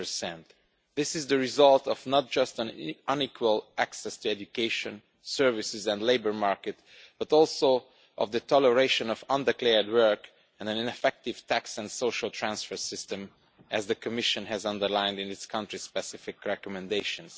20. This is the result not just of unequal access to education, services and the labour market, but also of the toleration of undeclared work and an ineffective tax and social transfer system, as the Commission has underlined in its Country Specific Recommendations.